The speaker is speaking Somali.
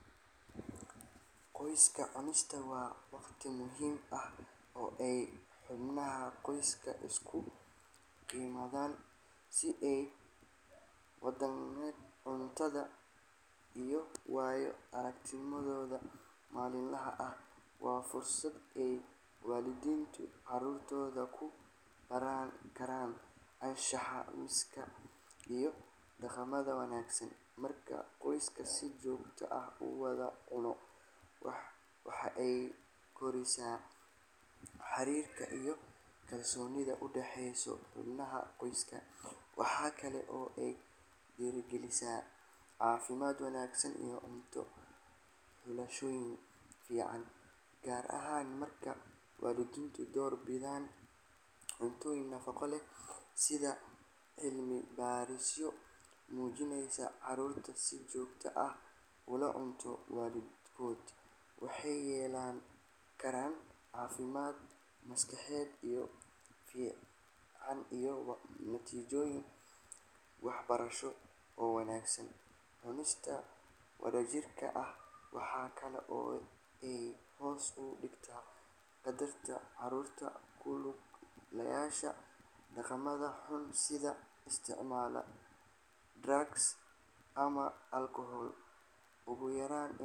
Qoyska cunista waa wakhti muhiim ah oo ay xubnaha qoyska iskugu yimaadaan si ay u wadaagaan cuntada iyo waayo-aragnimadooda maalinlaha ah. Waa fursad ay waalidiintu caruurtooda ku baran karaan anshaxa miiska iyo dhaqamada wanaagsan. Marka qoyska si joogto ah u wada cuno, waxa ay kordhisaa xiriirka iyo kalsoonida u dhaxaysa xubnaha qoyska. Waxa kale oo ay dhiirrigelisaa caafimaad wanaagsan iyo cunto xulashooyin fiican, gaar ahaan marka waalidiintu door bidaan cuntooyin nafaqo leh. Sida cilmi-baadhisyo muujinayaan, caruurta si joogto ah ula cunta waalidkood waxay yeelan karaan caafimaad maskaxeed oo fiican iyo natiijooyin waxbarasho oo wanaagsan. Cunista wadajirka ah waxa kale oo ay hoos u dhigtaa khatarta caruurta ku lug yeelashada dhaqamada xun sida isticmaalka drugs ama alcohol. Ugu yaraan.